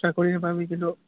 চাকৰি নাপাবি কিন্তু